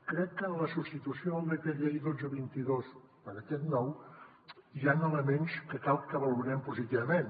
crec que en la substitució del decret llei dotze dos mil vint dos per aquest nou hi han elements que cal que valorem positivament